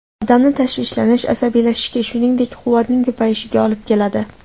Odamni tashvishlanish, asabiylashishga, shuningdek, quvvatning ko‘payishiga olib keladi.